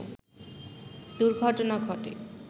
দুর্ঘটনা ঘটে